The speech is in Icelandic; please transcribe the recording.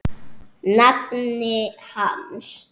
nafni hans.